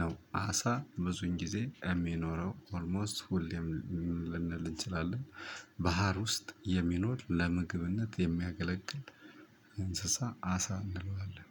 ነው። አሳ ብዙን ጊዜ የሚኖረው ኦልሞስት ሁሌም ልንል እንችላለን። ባህር ውስጥ የሚኖር ለምግብነት የሚያገለግል እንስሳ አሳ እንለዋለን